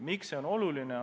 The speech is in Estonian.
Miks see on oluline?